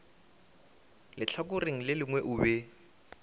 lehlakoreng le lengwe o be